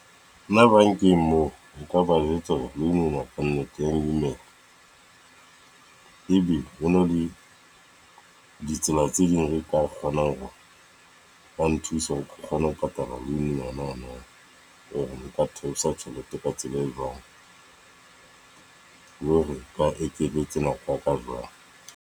Nna bankeng moo, o ka ba jwetsa hore loan ena ka nnete ya nkimela. E be ho na le ditsela tse ding re ka kgonang hore ba nthusae hore ke kgone ho patala loan e nanana. Nka theosa tjhelete ka tsela e jwang. Le hore ba ekeletse nako ka jwang?